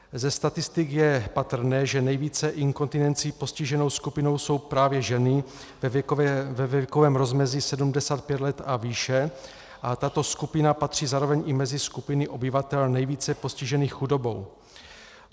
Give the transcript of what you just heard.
Ze statistik je patrné, že nejvíce inkontinencí postiženou skupinou jsou právě ženy ve věkovém rozmezí 75 let a výše, a tato skupina patří zároveň i mezi skupiny obyvatel nejvíce postižených chudobou.